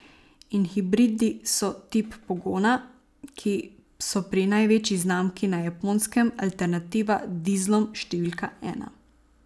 In hibridi so tip pogona, ki so pri največji znamki na Japonskem alternativa dizlom številka ena.